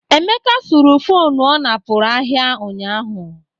Emeka suru fonu ọ napụrụ ahịa ụnyaahụ.